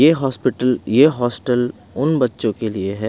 ए hospital ए hostel उन बच्चों के लिए है।